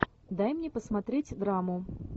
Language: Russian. дай мне посмотреть драму